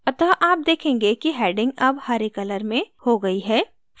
अतः आप देखेंगे कि heading अब हरे color में green हो गई है